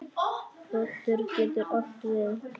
Broddur getur átt við